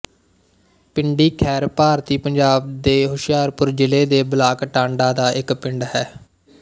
ਪਿੰਡੀ ਖੈਰ ਭਾਰਤੀ ਪੰਜਾਬ ਦੇ ਹੁਸ਼ਿਆਰਪੁਰ ਜ਼ਿਲ੍ਹੇ ਦੇ ਬਲਾਕ ਟਾਂਡਾ ਦਾ ਇੱਕ ਪਿੰਡ ਹੈ